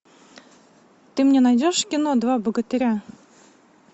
ты мне найдешь кино два богатыря